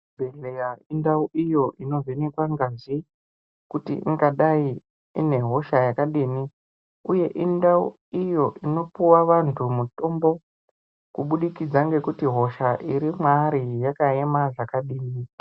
Chibhedhlera indau iyo inovhenekwa ngazi kuti ingadai ine hosha yakadini, uye indau iyo inopuwa vantu mutombo kubudikidza ngekuti hosha iri mwaari yakaema zvakadini.